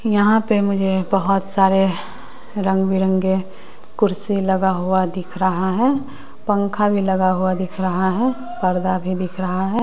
यहां पे मुझे बहोत सारे रंग बिरंगे कुर्सी लगा हुआ दिख रहा है पंखा भी लगा हुआ दिख रहा है पर्दा भी दिख रहा है।